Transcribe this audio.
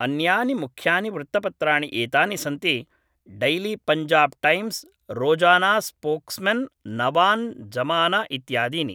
अन्यानि मुख्यानि वृत्तपत्राणि एतानि सन्ति डैलीपञ्जाब् टैम्स् रोजानास्पोक्स्मेन् नवान् जमाना इत्यादीनि